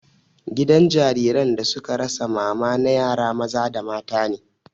Gidan jariran da suka rasa mama na yara maza da mata ne